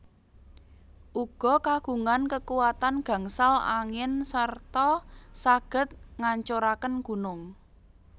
Uga kagungan kekuatan gangsal angin serta saged ngancuraken gunung